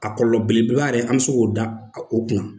A kɔlɔlɔ beleba yɛrɛ an be se k'o da o kunna.